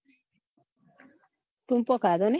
ટુપો ખાધો ની